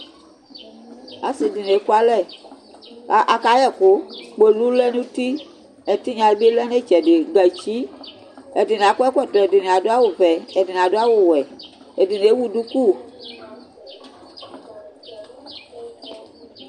ase dini eku alɛ ko aka yɛ ɛkoyɛ kpolu lɛ n'uti ɛtinya di bi lɛ n'itsɛdi gatsi ɛdini akɔ ɛkɔtɔ ɛdini ado awu vɛ ɛdini ado awu wɛ ɛdini ewu duku